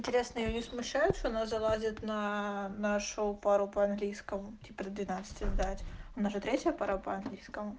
интересное её не смушают но залазят на нашу пару по английскому теперь двенадцати сдать у нас же третья пара по-английски